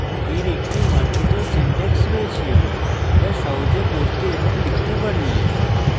এর একটি মার্জিত syntax রয়েছে যা সহজে পড়তে এবং লিখতে পারি